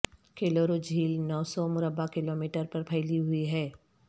کولیرو جھیل نو سو مربع کلومیٹر پر پھیلی ہوئی ہے